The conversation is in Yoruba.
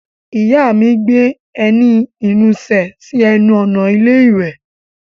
Ìyá mi gbé ẹní ìnusẹ̀ sí ẹnu ọ̀nà ilé iwẹ̀.